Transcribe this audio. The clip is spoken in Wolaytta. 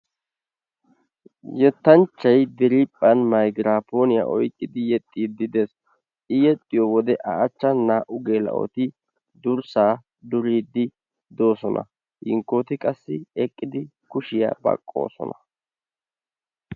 Yettanchchay diriiphphan maygrapponiyaa oyqqidi yexxidi dees. I yexxiyo wode a achachan naa'u naa'u geela'otti durssaa duriidi doosona. Hinkkoti qassi eqqidi kushshiya baqqoosona.